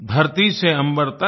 धरती से अम्बर तक